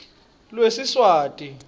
lwesiswati